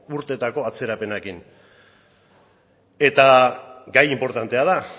urtetako atzerapenarekin eta gai inportantea da